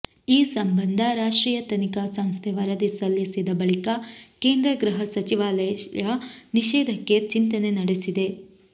ಈ ಸಂಬಂಧ ರಾಷ್ಟ್ರೀಯ ತನಿಖಾ ಸಂಸ್ಥೆ ವರದಿ ಸಲ್ಲಿಸಿದ ಬಳಿಕ ಕೇಂದ್ರ ಗೃಹ ಸಚಿವಾಲಯ ನಿಷೇಧಕ್ಕೆ ಚಿಂತನೆ ನಡೆಸಿದೆ